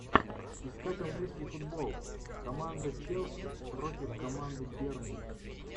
искать английский футбол команда челси против команды бернли